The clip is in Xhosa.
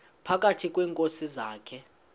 phakathi kweenkosi zakhe